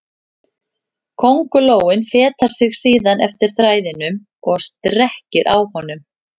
Köngulóin fetar sig síðan eftir þræðinum og strekkir á honum.